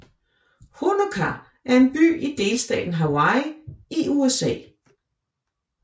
Honokaa er en by i delstaten Hawaii i USA